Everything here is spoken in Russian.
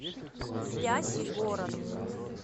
спящий город